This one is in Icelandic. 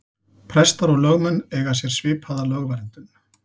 Prestar og lögmenn eiga sér svipaða lögverndun.